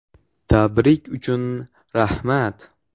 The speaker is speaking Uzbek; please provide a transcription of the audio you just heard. Tabrik uchun rahmat.